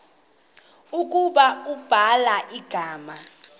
ukuba ubhala igama